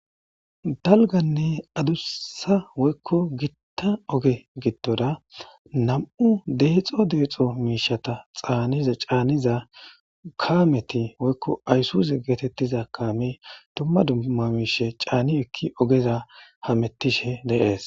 dalganne adussa woykko gitta oge gitmdora nam'u deexo deexo miishata caaniza kaameti woykko ayssuse geetettiza kaame dumma dumma miishe caani ekki ogeza hamettishe de'es